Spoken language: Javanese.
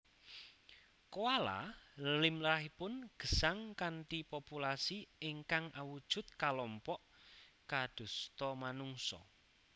Koala limrahipun gesang kanthi populasi ingkang awujud kalompok kadosta manungsa